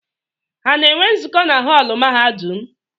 Ha na-enwe nzukọ na họọlụ mahadum?